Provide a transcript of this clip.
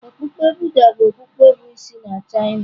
Okpukpe Buddha bụ okpukpe bụ isi na China.